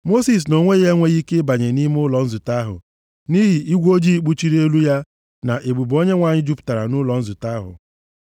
Mosis nʼonwe ya enweghị ike ịbanye nʼime ụlọ nzute ahụ nʼihi igwe ojii kpuchiri elu ya na ebube Onyenwe anyị jupụtara nʼụlọ nzute ahụ.